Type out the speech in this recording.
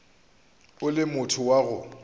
o le motho wa go